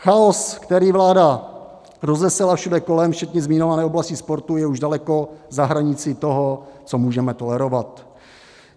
Chaos, který vláda rozesela všude kolem včetně zmiňované oblasti sportu, je už daleko za hranicí toho, co můžeme tolerovat.